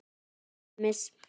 Til dæmis